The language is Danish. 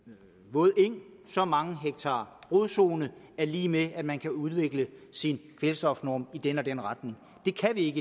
våd eng så mange hektar rodzone er lig med at man kan udvikle sin kvælstofnorm i den og den retning det kan vi